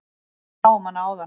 Við sáum hana áðan.